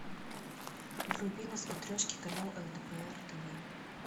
вруби на смотрешке канал лдпр тв